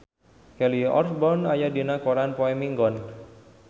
Kelly Osbourne aya dina koran poe Minggon